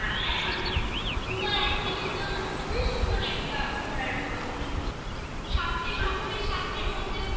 হ্যাঁ হ্যাঁ পুরো একদিনের জন্য খুবই সুন্দর একটা ঘোরার মতন জায়গা আচ্ছা সাধ্যে সকলের সাধ্যের মধ্যেও